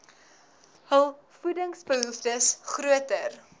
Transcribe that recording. hul voedingsbehoeftes groter